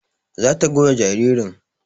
Za ta goya jaririn